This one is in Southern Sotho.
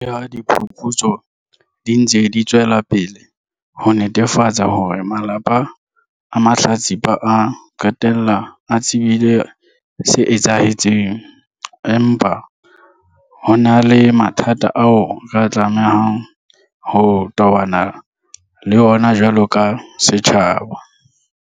Le ha diphuputso di ntse di tswela pele ho netefatsa hore malapa a mahlatsipa a qetella a tsebile se etsahetseng, empa ho na le mathata ao re tlamehang ho tobana le ona jwalo ka setjhaba.